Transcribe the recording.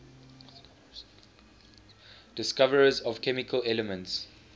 discoverers of chemical elements